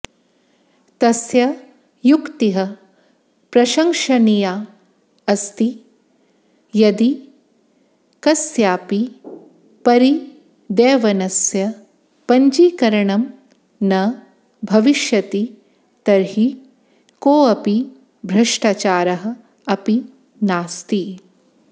तस्य युक्तिः प्रशंसनीया अस्ति यदि कस्यापि परिदेवनस्य पञ्जीकरणं न भविष्यति तर्हि कोऽपि भ्रष्टाचारः अपि नास्ति